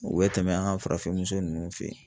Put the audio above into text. U bɛ tɛmɛ an ka farafin muso nunnu fɛ.